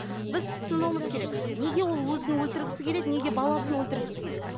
біз түсінуіміз керек неге ол өзін өлтіргісі келеді неге баласын өлтіргісі келеді